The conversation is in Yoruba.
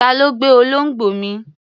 Ta ló gbé olóńgbò mi?